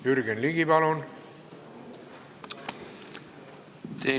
Jürgen Ligi, palun!